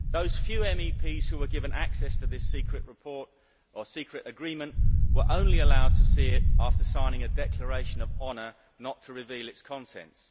Those few MEPs who were given access to this secret report, or secret agreement, were only allowed to see it after signing a declaration of honour not to reveal its contents.